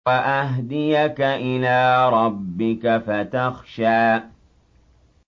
وَأَهْدِيَكَ إِلَىٰ رَبِّكَ فَتَخْشَىٰ